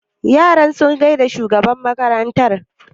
Yaran sun gaida shugaban makaranta yau?